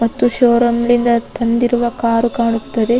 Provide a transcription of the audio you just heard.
ಮತ್ತು ಷೋರೂಮ್ ನಿಂದ ತಂದಿರುವ ಕಾರು ಕಾಣುತ್ತದೆ.